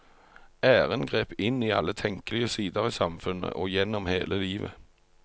Æren grep inn i alle tenkelige sider i samfunnet og gjennom hele livet.